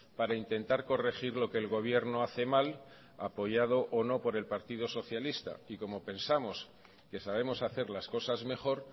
para intentar corregir lo que el gobierno hace mal apoyado o no por el partido socialista y como pensamos que sabemos hacer las cosas mejor